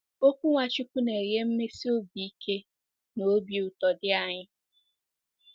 Okwu Nwachukwu na-enye mmesi obi ike na obi ụtọ dị anyị.